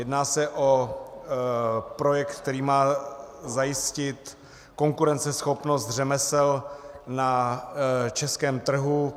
Jedná se o projekt, který má zajistit konkurenceschopnost řemesel na českém trhu.